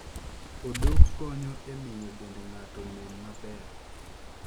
Odok konyo e miyo dend ng'ato nen maber.